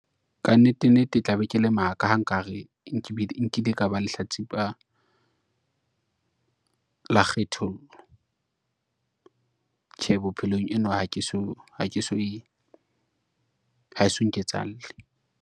Ka nnete nnete tla be ke le maka ha nkare nkile ka ba lehlatsipa, la kgethollo. Tjhe bophelong eno, haeso nketsahalle.